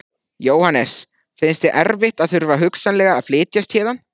Jóhannes: Finnst þér erfitt að þurfa hugsanlega að flytjast héðan?